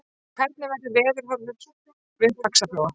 hvernig verður veðurhorfur við faxaflóa